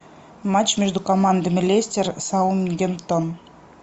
матч между командами лестер саутгемптон